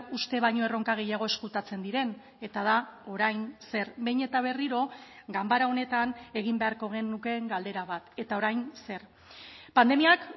uste baino erronka gehiago ezkutatzen diren eta da orain zer behin eta berriro ganbara honetan egin beharko genukeen galdera bat eta orain zer pandemiak